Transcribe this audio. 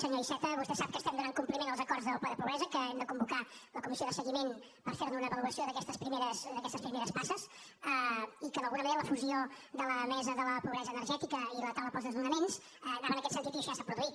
senyor iceta vostè sap que estem donant compliment als acords del ple de pobresa que hem de convocar la comissió de seguiment per fer ne una avaluació d’aquestes primeres passes i que d’alguna manera la fusió de la mesa de la pobresa energètica i la taula pels desnonaments anava en aquest sentit i això ja s’ha produït